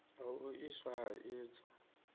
ha u iswa ha idzo